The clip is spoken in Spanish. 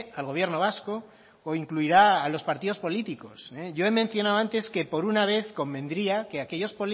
al gobierno vasco o incluirá a los partidos políticos yo he mencionado antes que por una vez convendría que aquellos